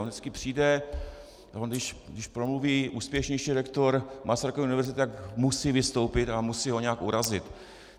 On vždycky přijde - když promluví úspěšnější rektor Masarykovy univerzity, tak musí vystoupit a musí ho nějak urazit.